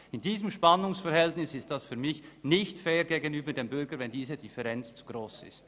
In diesem Spannungsverhältnis ist es für mich nicht fair gegenüber dem Bürger, wenn diese Differenz zu gross ist.